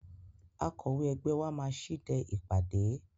Akọ̀wé ẹgbẹ́ wa máa ṣíde ìpàdé.